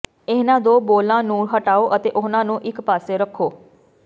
ਇਹਨਾਂ ਦੋ ਬੋਲਾਂ ਨੂੰ ਹਟਾਓ ਅਤੇ ਉਨ੍ਹਾਂ ਨੂੰ ਇਕ ਪਾਸੇ ਰੱਖੋ